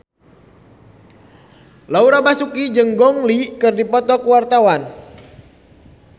Laura Basuki jeung Gong Li keur dipoto ku wartawan